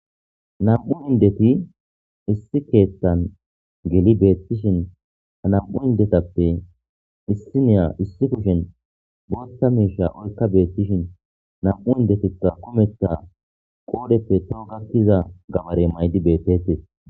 nam'u indeti issi keettan geli beettishin ha nam'u indetappe issi niya issi kushen bootta miisha olka beettishin namu indetikka kumetta qoodeppe toho gakkiza gabarey maydi beettetes